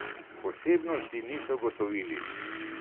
Posebnosti niso ugotovili.